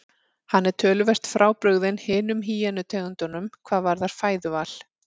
Hann er töluvert frábrugðinn hinum hýenu tegundunum hvað varðar fæðuval.